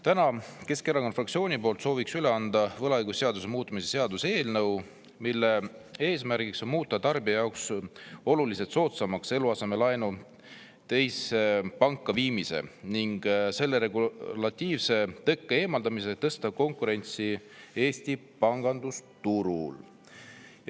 Täna soovin Keskerakonna fraktsiooni poolt üle anda võlaõigusseaduse muutmise seaduse eelnõu, mille eesmärk on muuta tarbija jaoks oluliselt soodsamaks eluasemelaenu teise panka viimine ning selle regulatiivse tõkke eemaldamisega tõsta konkurentsi Eesti pangandusturul.